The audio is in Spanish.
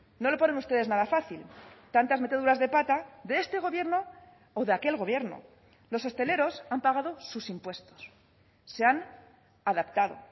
no lo ponen ustedes nada fácil tantas meteduras de pata de este gobierno o de aquel gobierno los hosteleros han pagado sus impuestos se han adaptado